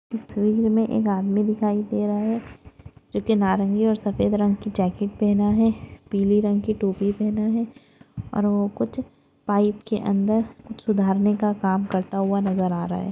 इस विंग मे एक आदमी दिखाई दे रहा है जो की नारंगी और सफेद रंग की जॅकेट पहना है पीली रंग की टोपी पेहना है और वो कुछ पाइप के अंदर सुधारने का काम करता हुआ नजर आ रहा है।